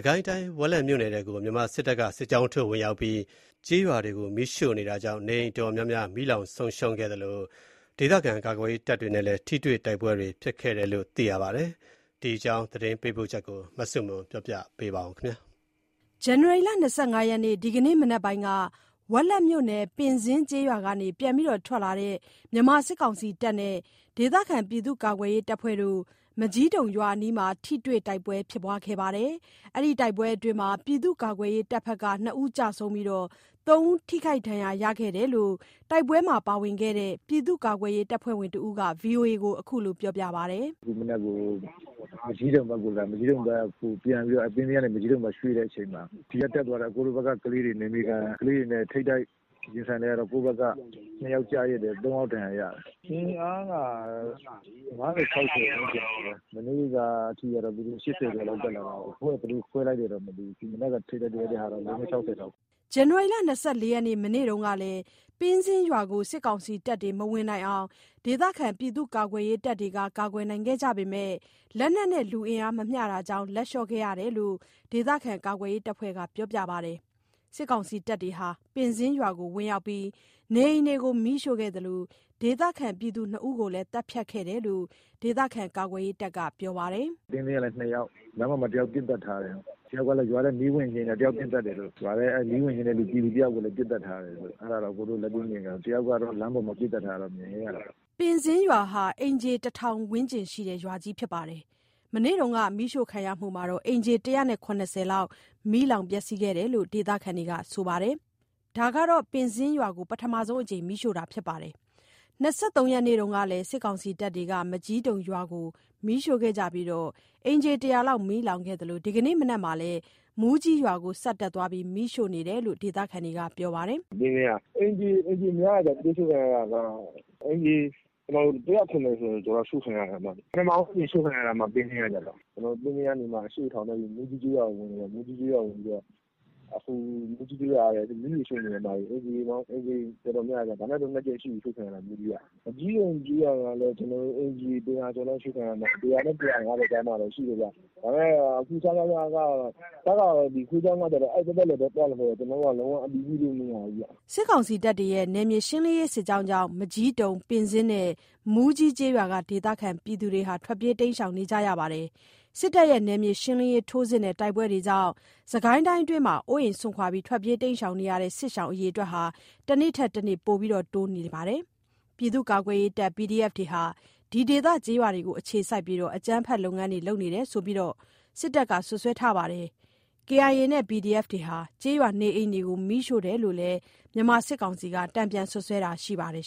ကိုင်းတိုင်း ဝက်လက်မြို့နယ်ထဲကို မြန်မာစစ်တပ်က စစ်ကြောင်းထိုးဝင်ရောက်ပြီး ကျေးရွာတွေကို မီးရှို့နေတာကြောင့် နေအိမ်အတော်များများ မီးလောင်ဆုံးရှုံးခဲ့သလို၊ ဒေသခံကာကွယ်ရေးတပ်တွေနဲ့ ထိတွေ့တိုက်ပွဲတွေလည်းဖြစ်ခဲ့တယ်လို့ သိရပါတယ်။ ဒီအကြောင်း သတင်းပေးပို့ချက်ကို မဆုမွန်က ပြောပြမှာပါ။ ဇန်နဝါရီ ၂၅ ရက် ဒီကနေ့ မနက်ပိုင်းက ဝက်လက်မြို့နယ် ပင်းဇင်းကျေးရွာက ပြန်ထွက်လာတဲ့ မြန်မာစစ်တပ်နဲ့ ဒေသခံ ပြည်သူ့ကာကွယ်ရေး တပ်ဖွဲ့တို့ မကျည်းတုံရွာအနီးမှာ ထိတွေ့တိုက်ပွဲ ဖြစ်ခဲ့ကြပြီး ပြည်သူ့ကာကွယ်ရေး အဖွဲ့ဖက်က ၂ ဦး ကျဆုံးပြီး ၃ ဦး ထိခိုက်ဒဏ်ရာ ရခဲ့တယ်လို့ တိုက်ပွဲမှာပါဝင်ခဲ့သူ ပြည်သူ့ကာကွယ်ရေး တပ်ဖွဲ့ဝင်တစ်ဦးက ဗွီအိုအေကို ခုလိုပြောပါတယ်။ "ခုမနက်မှ မကျည်းတုံဖက်ကိုလာတဲ့ တွေ မကျည်းတုံဖက်ကို ရွှေ့တဲ့ အချိန်မှာ ဒီကတက်သွားတဲ့ ကျွန်တော်တို့ ဘက်က ကလေးတွေ နယ်မြေခံ ကလေးတွေနဲ့ ထိပ်တိုက် ရင်ဆိုင်လိုက်ရတော့ ကိုယ်ဖက်က ၂ ယောက်ကျတယ် ၃ ယောက် ဒဏ်ရာ ရတယ်။ အင်အားက ၅၀၊ ၆၀ လောက်ရှိမယ်။ မနေ့ကထိကို သူတို့က ၈၀ ကျော်လောက် တက်လာတာကို သူတို့က ဘယ်လို ခွဲလိုက်လဲ မသိဘူး ဒီကနေ့ မနက် တွေလိုက်ရတာကတော့ ၄၊ ၅၊ ၆၀ လောက်ပဲ။" ဇန်နဝါရီ ၂၄ ရက် မနေ့ကလည်း ပင်းဇင်းရွာကို စစ်ကောင်စီတပ်တွေ မဝင်နိုင်အောင် ဒေသခံကာကွယ်ရေးတပ်တွေက ကာကွယ်ခဲ့ကြပေမယ့် လက်နက်နဲ့ လူအင်အား မမျှတာကြောင့် လက်လျှော့ခဲ့ကြရတယ်လို့ ဒေသခံကာကွယ်ရေးတပ်ဖွဲ့က ပြောပါတယ်။ စစ်ကောင်စီတပ်တွေ ပင်ဇင်းရွာကို ဝင်ရောက်ပြီး နေအိမ်တွေကို မီးရှို့ခဲ့သလို ဒေသခံ ၂ ဦးကိုလည်း သတ်ဖြတ်ခဲ့တယ်လို့ ဒေသခံကာကွယ်ရေးတပ်က ပြောပါတယ်။ "ပင်းဇင်းကလည်း ၂ ယောက်၊ လမ်းပေါ်မှာ တစ်ယောက်ပစ်သတ်ထားတယ်။ နောက်တစ်ယောက်ကလဲ ရွာထဲကို မီးဝင်ငြိမ်းတာ နောက်တစ်ယောက် ထပ်ပြီး ပစ်သတ်တယ်လို့၊ ရွာထဲ မီးဝင်ငြိမ်းတဲ့ ပြည်သူတစ်ယောက်ကိုလည်း ပစ်သတ်ထားတယ်။ အဲ့ဒါကတော့ ကျွန်တော်တို့ လက်တွေ့မြင်ခဲ့ရတာ၊ လမ်းပေါ်မှာ ပစ်သတ်ထားတာလည်း မြင်ခဲ့ရတယ်။" ပင်းဇင်းရွာဟာ အိမ်ခြေ ၁၀၀၀ ဝန်းကျင်ရှိတဲ့ ရွာကြီးဖြစ်ပြီး မနေ့က မီးရှို့ခံရမှုမှာ အိမ်ခြေ ၁၇၀ လောက် မီးလောင်ခဲ့တယ်လို့ ဒေသခံတွေက ဆိုပါတယ်။ ဒါဟာ ပင်းဇင်းရွာကို ပထမဆုံး အကြိမ်မီးရှို့တာဖြစ်ပါတယ်။ ၂၃ ရက်နေ့ကလည်း စစ်ကောင်စီတပ်တွေက မကျည်းတုံရွာကို မီးရှို့ခဲ့ကြပြီးတော့ အိမ်ခြေ ၁၀၀ လောက်မီးလောင်ခဲ့သလို ဒီကနေ့မနက်မှာလည်း မူးကြီးရွာကို ဆက်တက်သွားပြီး မီးရှို့နေတယ်လို့ ဒေသခံတွေက ပြောပါတယ်။ "ပင်းဇင်းက အိမ်ခြေများတယ်ဗျ။ ရှို့ခံရတာက အိမ်ခြေ ၁၇၀ ကျော်လောက် ရှို့ခံရတယ်ဗျ။ ပထမဆုံးအကြိမ်ရှို့ခံရတာဗျ ပင်းဇင်းက ကျတော့။ အခု သူတို့က ပင်းဇင်းရွာက ထွက်ပြီးတော့မှ အရှေ့ဖက်က မူးကြီး ကျေးရွာကို ဝင်နေတယ်။ မူးကြီးရွာကိုဝင်ပြီးတော့ အခုသူတို့ မူးကြီးရွာကို မီးတွေ ရှို့နေတယ်။ အိမ်ခြေတော်တော်များမယ်၊ ဒါနဲ့ဆို ၂ ကြိမ်ရှိပြီး မီးရှို့ခံရတာ မူးကြီးက။ မကျည်းတုံကျေးရွာကလည်း အိမ်ခြေ ၁၀၀ ကျော်လောက်တာ ရှို့ခံရမယ်၊ ၁၀၀ နဲ့ ၁၅၀ ကြားရှိမယ်။ အခုက စကစ စစ်ကြောင်းက အဲ့ဒီဖက် ကိုပဲ လှည့်ပတ်ပြီး သွားနေတော့ ဝင်ပြီး အတည်ပြုဖို့က မရနိုင်ဘူးဗျ။" စစ်ကောင်စီရဲ့ ဒီနယ်မြေရှင်းလင်းရေး စစ်ကြောင်းကြောင့် မကျည်းတုံ၊ ပင်းဇင်းနဲ့ မူးကြီးကျေးရွာက ဒေသခံတွေ ထွက်ပြေးနေကြရပါတယ်။ စစ်တပ်ရဲ့ နယ်မြေရှင်းလင်းရေး ထိုးစစ်နဲ့ တိုက်ပွဲတွေကြောင့် စစ်ကိုင်းအတွင်းမှာ အိုးအိမ် စွန့်ခွာ ထွက်ပြေးနေကြရတဲ့ စစ်ရှောင် အရေ အတွက်တွေက တနေ့ထက်တနေ့ ပိုပြီးတိုးလာနေပါတယ်။ ပြည်သူ့ကာကွယ်ရေးတပ် PDF တွေဟာ ဒီဒေသ ကျေးရွာတွေကို အခြေစိုက်ပြီး အကြမ်းဖက် လုပ်ငန်းတွေ လုပ်နေတယ်ဆိုပြီးတော့လည်း မြန်မာစစ်တပ်က စွပ်စွဲပါတယ်။ ကချင်လွတ်မြောက်ရေးတပ် KIA နဲ့ PDF တွေဟာ ကျေးရွာနေအိမ်တွေကို မီးရှို့တယ်လို့လည်း မြန်မာစစ်ကောင်စီက တန်ပြန်စွပ်စွဲတာရှိပါတယ်